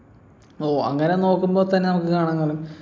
ഓ അങ്ങനെ നോക്കുമ്പോ തന്നെ കാണാൻ